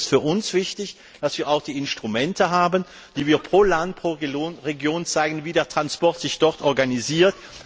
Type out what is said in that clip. Deshalb ist es für uns wichtig, dass wir auch die Instrumente haben, die pro Land, pro Region zeigen, wie der Verkehr sich dort organisiert.